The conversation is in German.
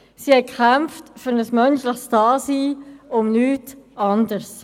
Sie kämpften für ein menschliches Dasein und um nichts anderes.